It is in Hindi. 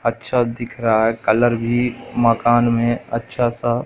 अच्छा दिख रहा है कलर भी मकान में अच्छा सा--